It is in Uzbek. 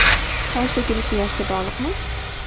Soch to‘kilishi yoshga bog‘liqmi?.